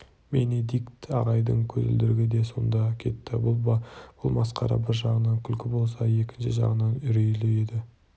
бенедикт ағайдың көзілдірігі де сонда кетті бұл масқара бір жағынан күлкі болса екінші жағынан үрейлі еді